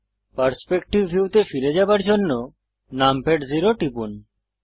perspective ভিউতে ফিরে যাওয়ার জন্য নামপ্যাড জেরো টিপুন